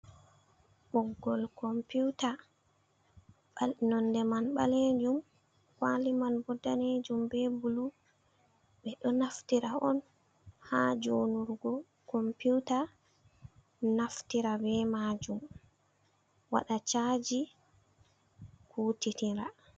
Boggol komputa nonɗe man balejum kwali man bodanejum be bulu. be ɗo naftira on ha jonugo computa naftira be majum waɗa shaji kutitira.